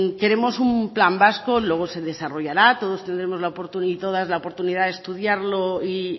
queremos un plan vasco luego se desarrollará todos y todas tendremos la oportunidad de estudiarlo y